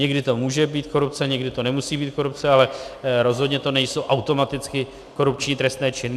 Někdy to může být korupce, někdy to nemusí být korupce, ale rozhodně to nejsou automaticky korupční trestné činy.